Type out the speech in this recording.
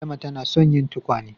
Adama ta na son yin tukwane